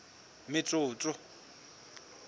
metsotso